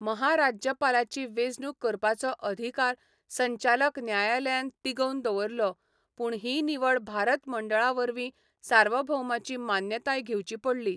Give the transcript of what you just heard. महाराज्यपालाची वेंचणूक करपाचो अधिकार संचालक न्यायालयान तिगोवन दवरलो, पूण ही निवड भारत मंडळावरवीं सार्वभौमाची मान्यताय घेवची पडली.